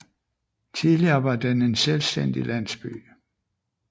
Tidligere var den en selvstændig landsby